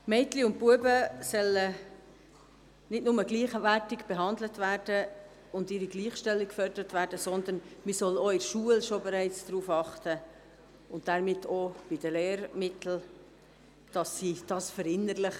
Mädchen und Jungs sollen nicht nur gleichwertig behandelt werden, und es soll nicht nur deren Gleichstellung gefördert werden, sondern man soll bereits in der Schule darauf achten und dies somit auch in den Lehrmitteln verinnerlichen.